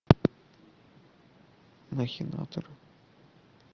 махинаторы